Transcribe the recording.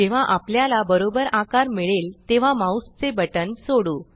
जेव्हा आपल्याला बरोबर आकार मिळेल तेव्हा माउस चे बटन सोडू